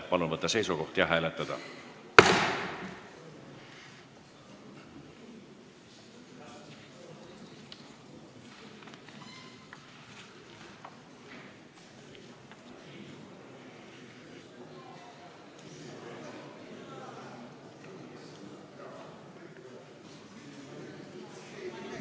Palun võtta seisukoht ja hääletada!